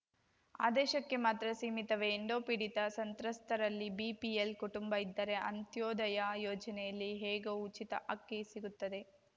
ಆದೇಶಕ್ಕೆ ಮಾತ್ರ ಸೀಮಿತವೇ ಎಂಡೋಪೀಡಿತ ಸಂತ್ರಸ್ತರಲ್ಲಿ ಬಿಪಿಎಲ್‌ ಕುಟುಂಬ ಇದ್ದರೆ ಅಂತ್ಯೋದಯ ಯೋಜನೆಯಲ್ಲಿ ಹೇಗೂ ಉಚಿತ ಅಕ್ಕಿ ಸಿಗುತ್ತದೆ